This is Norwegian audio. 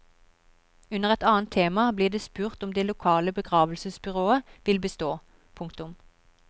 Under et annet tema blir det spurt om det lokale begravelsesbyrået vil bestå. punktum